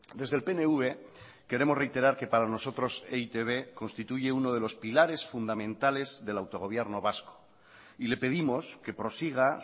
desde el pnv queremos reiterar que para nosotros e i te be constituye uno de los pilares fundamentales del autogobierno vasco y le pedimos que prosiga